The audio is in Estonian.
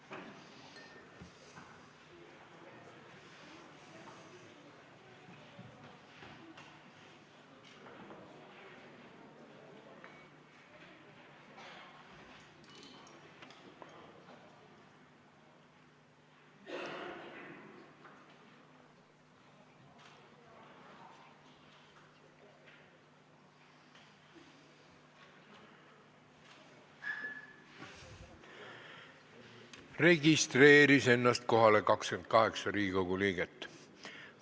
Kohaloleku kontroll Kohalolijaks registreeris ennast 28 Riigikogu liiget.